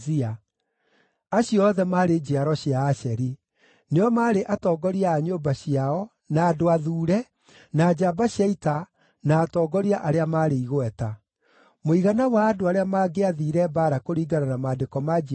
Acio othe maarĩ njiaro cia Asheri; nĩo maarĩ atongoria a nyũmba ciao, na andũ athuure, na njamba cia ita, na atongoria arĩa maarĩ igweta. Mũigana wa andũ arĩa maangĩathiire mbaara kũringana na maandĩko ma njiarwa ciao maarĩ 26,000.